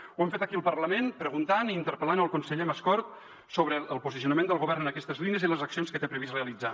ho hem fet aquí al parlament preguntant i interpel·lant el conseller mascort sobre el posicionament del govern en aquestes línies i les accions que té previst realitzar